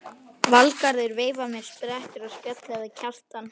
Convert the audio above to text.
Valgarður veifar mér, sperrtur á spjalli við Kjartan.